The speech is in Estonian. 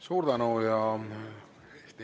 Suur tänu!